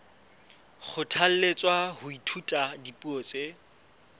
kgothalletswa ho ithuta dipuo tse